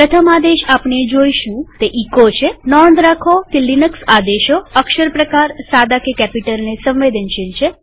પ્રથમ આદેશ આપણે જોઈશું તે એચો છેનોંધ રાખો કે લિનક્સ આદેશો અક્ષર પ્રકારસાદા કે કેપિટલને સંવેદનશીલ છે